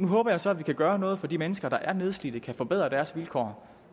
nu håber jeg så at vi kan gøre noget for de mennesker der er nedslidte kan forbedre deres vilkår